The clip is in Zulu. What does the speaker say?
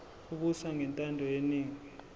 ebuswa ngentando yeningi